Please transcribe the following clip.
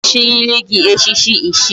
Aga echiriri gi echichi ichie